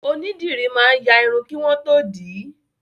Onídìrí máa ń ya Irun kí wọ́n tó dì í